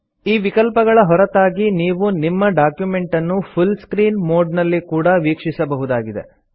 ಈ ವಿಕಲ್ಪಗಳ ಹೊರತಾಗಿ ನೀವು ನಿಮ್ಮ ಡಾಕ್ಯುಮೆಂಟನ್ನು ಫುಲ್ ಸ್ಕ್ರೀನ್ ಮೊಡ್ ನಲ್ಲಿ ಕೂಡಾ ವೀಕ್ಷಿಸಬಹುದಾಗಿದೆ